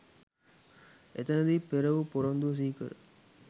එතැනදී පෙරවු පොරොන්දුව සිහිකර